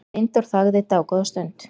Steindór þagði dágóða stund.